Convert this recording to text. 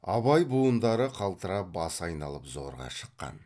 абай буындары қалтырап басы айналып зорға шыққан